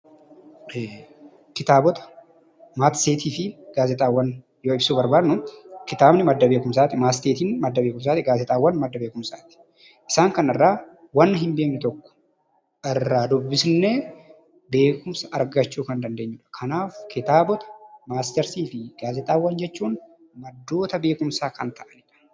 Kitaabawwan, matseetiifi gaazexaawwan yoo ibsuu barbaannu kitaabni madda beekumsaati, matseetiin madda beekumsaati, gaazexaawwan madda beekumsaati. Isaan kana irraa wanta hinbeeknw tokko irraa dubbisnee beekumsa argachuu kan dandeenyudha. Kanaaf kitaabota, matseetiifi gaazexaawwan maddoota beekumsaa kan ta'anidha.